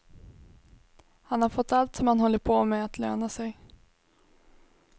Han har fått allt som han har hållit på med att löna sig.